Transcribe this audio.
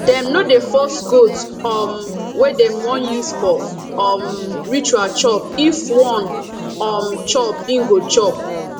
dem no dey force goat um wey dem won use for um ritual chop if won um chop e go chop